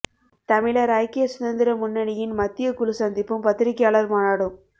தமிழர் ஐக்கிய சுதந்திர முன்னணியின் மத்திய குழு சந்திப்பும் பத்திரிகையாளர் மாநாடும்